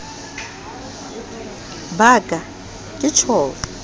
ba ka ke tjho le